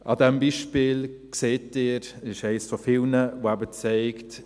An diesem Beispiel sehen Sie, es ist eines von vielen, das eben zeigt: